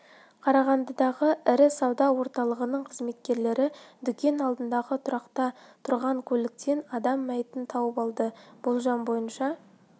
қарағандыдағы ірі сауда орталығының қызметкерлері дүкен алдындағы тұрақта тұрған көліктен адам мәйітін тауып алды болжам бойынша